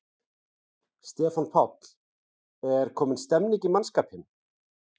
Stefán Páll: Er komin stemning í mannskapinn?